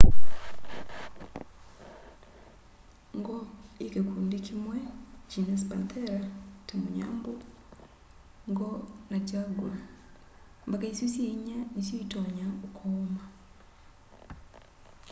ngo yi kikundi kimwe genus panthera ta munyambu ngo na jaguaa mbaka isu syi inya nisyo itonya ukooma